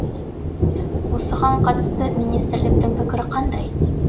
осыған қатысты министрліктің пікірі қандай